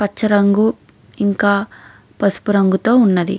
పచ్చ రంగు ఇంకా పసుపు రంగుతో వున్నది.